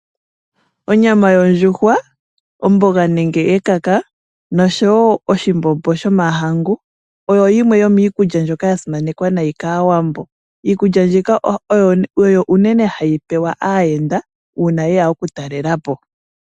Onyama yondjuhwa ,omboga nenge ekaka noshowo oshimbombo shomahangu oyo yimwe yomiikulya ndjoka yasimanekwa nayi kaawambo, iikulya mbika oyo unene hayi pewa aayenda uuna yeya oku talelapo.